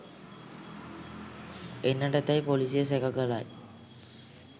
එන්නට ඇතැයි පොලිසිය සැක කරයි